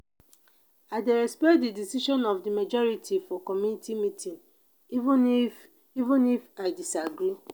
i dey respect di decision of di majority for community meeting even if even if i disagree.